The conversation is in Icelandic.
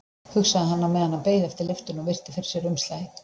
hugsaði hann á meðan hann beið eftir lyftunni og virti fyrir sér umslagið.